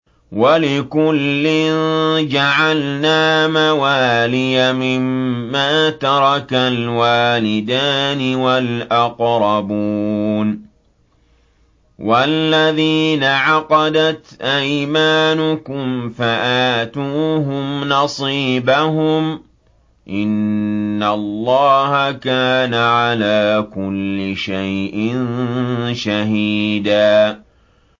وَلِكُلٍّ جَعَلْنَا مَوَالِيَ مِمَّا تَرَكَ الْوَالِدَانِ وَالْأَقْرَبُونَ ۚ وَالَّذِينَ عَقَدَتْ أَيْمَانُكُمْ فَآتُوهُمْ نَصِيبَهُمْ ۚ إِنَّ اللَّهَ كَانَ عَلَىٰ كُلِّ شَيْءٍ شَهِيدًا